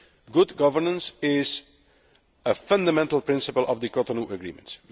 Good governance is a fundamental principle of the Cotonou Agreement.